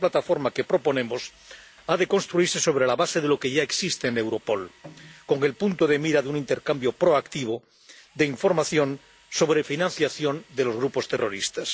Y esta plataforma que proponemos ha de construirse sobre la base de lo que ya existe en Europol, con el punto de mira en un intercambio proactivo de información sobre financiación de los grupos terroristas.